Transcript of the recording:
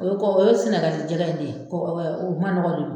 O ye kɔ ye, o ye Sinɛgali jɛgɛ de ye, kɔɔ o manɔgɔ bɛ yen.